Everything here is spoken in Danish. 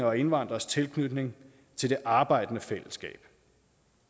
og indvandreres tilknytning til det arbejdende fællesskab